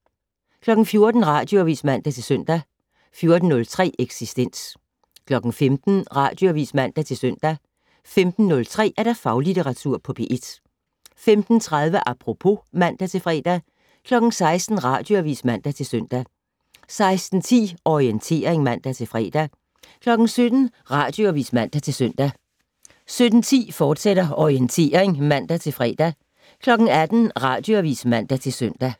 14:00: Radioavis (man-søn) 14:03: Eksistens 15:00: Radioavis (man-søn) 15:03: Faglitteratur på P1 15:30: Apropos (man-fre) 16:00: Radioavis (man-søn) 16:10: Orientering (man-fre) 17:00: Radioavis (man-søn) 17:10: Orientering, fortsat (man-fre) 18:00: Radioavis (man-søn)